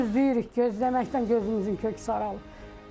Gözləyirik, gözləməkdən gözümüzün kökü saralıb.